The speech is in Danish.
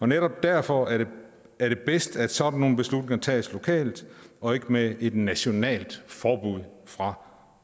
netop derfor er det bedst at sådan nogle beslutninger tages lokalt og ikke med et nationalt forbud fra